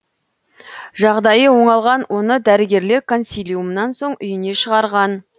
жағдайы оңалған оны дәрігерлер консилиумнан соң үйіне шығарған